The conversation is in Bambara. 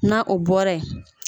Na o bɔra yen